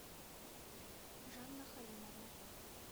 жанна халимовна